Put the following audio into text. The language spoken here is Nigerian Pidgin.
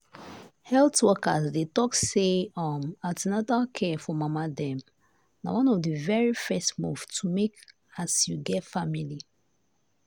health workers dey talk say um an ten atal care for mama dem na one of the very first move to make as you get family.